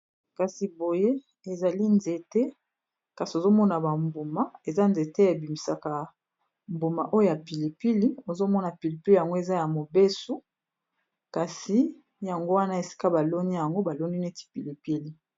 Kasi boye ezali nzete kasi ozomona bambuma eza nzete ebimisaka mbuma oya pilipili ozomona pilipili yango eza ya mobesu kasi yango wana esika baloni yango baloni neti pilipili.